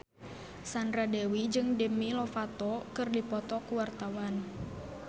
Sandra Dewi jeung Demi Lovato keur dipoto ku wartawan